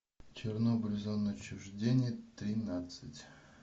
чернобыль зона отчуждения тринадцать